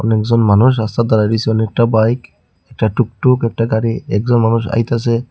অনেকজন মানুষ রাস্তায় দাঁড়ায় রইসে অনেকটা বাইক একটা টুকটুক একটা গাড়ি একজন মানুষ আইতাসে।